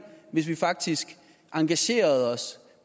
hvis vi faktisk engagerede os